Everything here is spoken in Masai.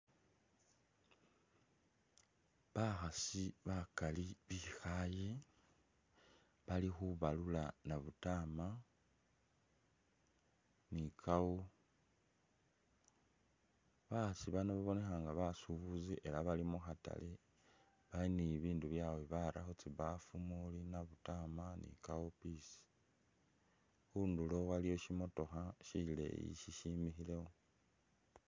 Bakhasi bakali bikhaaye, bali khubalula nabutama ni cowpeas. Bakhasi babonekha nga basubuzi ela bali mu khatale bali ni bibindu byawe bili khu tsibaafu umuuli nabutama ni cowpeas. Khundulo waliyo syimotokha syileyi syisyimikhilewo.